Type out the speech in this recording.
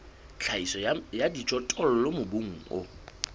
tlhahiso ya dijothollo mobung o